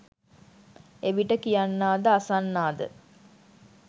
එවිට කියන්නා ද අසන්නා ද